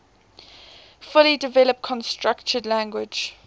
fully developed constructed language